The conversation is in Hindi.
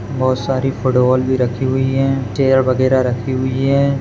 बहुत सारी फूटबॉल भी रखी हुई है चेअर वगैरा रखी हुई है।